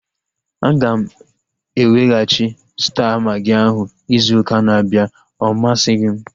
Aga m eweghachi Staa magị ahu izu ụka na-abịa. Ọ masighi m